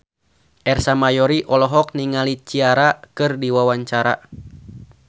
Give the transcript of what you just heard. Ersa Mayori olohok ningali Ciara keur diwawancara